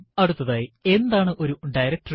അടുത്തതായി എന്താണ് ഒരു ഡയറക്ടറി